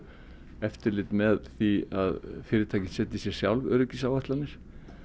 eftirlit með því að fyrirtæki setji sér sjálf öryggisáætlanir